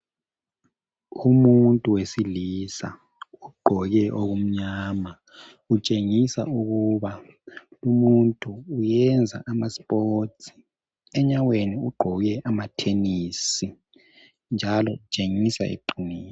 Umuntu wesilisa ugqoke okumnyama utshengisa ukuba umuntu uyenza amasipotsi . Enyaweni ugqoke amathenisi njalo kutshengisa eqinile.